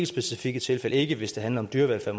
specifikke tilfælde ikke hvis det handler om dyrevelfærd